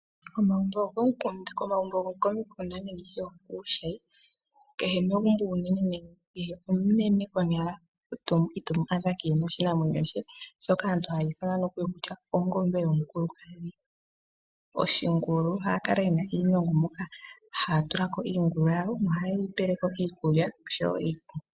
Omagumbo gokomikunda Omagumbo gokomikunda nenge ndi tye gokuushayi kehe megumbo nenge kehe omukulukadhi konyala ito mu adha ke ena oshinamwenyo she shoka aantu haya ithana kutya ongombe yomukulukadhi, oshingulu. Ohaya kala ye na iigunda hoka haya tula ko iingulu yawo nohaye yi pele ko iikulya osho wo omeya.